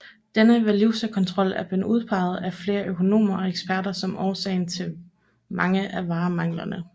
Denne valutakontrol er blevet udpeget af flere økonomer og eksperter som årsag til mange af varemanglerne